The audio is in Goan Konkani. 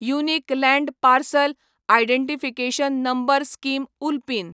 unique land parcel identification number scheme उल्पीन